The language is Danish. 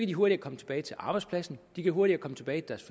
de hurtigere komme tilbage til arbejdspladsen de kan hurtigere komme tilbage til